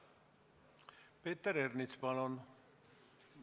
Peeter Ernits, palun!